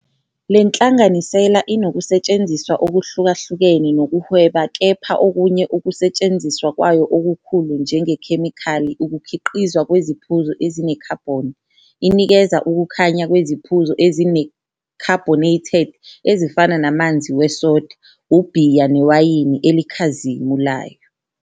Le nhlanganisela inokusetshenziswa okuhlukahlukene kokuhweba kepha okunye ukusetshenziswa kwayo okukhulu njengekhemikhali ukukhiqizwa kweziphuzo ezinekhabhoni, inikeza ukukhanya kweziphuzo ezine-carbonated ezifana namanzi we-soda, ubhiya newayini elikhazimulayo.